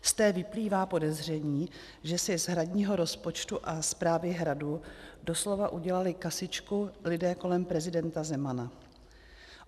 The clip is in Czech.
Z té vyplývá podezření, že si z hradního rozpočtu a správy Hradu doslova udělali kasičku lidé kolem prezidenta Zemana.